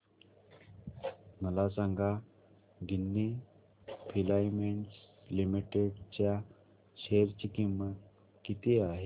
मला सांगा Ginni filaments limited च्या शेअर ची किंमत किती आहे